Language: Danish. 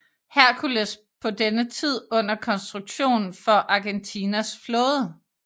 Hércules på denne tid under konstruktion for Argentinas flåde